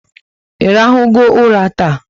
Irahu go ụla taa?